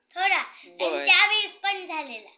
थोडा आणि त्या वेळेस पण झालेला